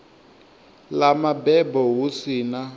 ḽa mabebo hu si na